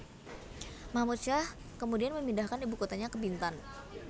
Mahmud Syah kemudian memindahkan ibu kotanya ke Bintan